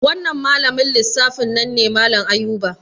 Wannan malamin lissafi nan ne malan Ayuba